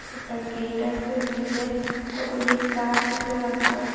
একটা গেট আসে গিলের কতটি গাস আসে রাস্তাত--